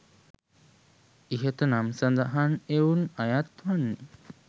ඉහත නම් සඳහන් එවුන් අයත් වන්නේ